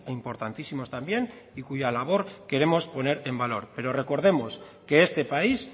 importantísimos también y cuya labor queremos poner en valor pero recordemos que este país